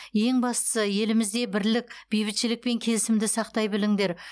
ең бастысы елімізде бірлік бейбітшілік пен келісімді сақтай біліңдер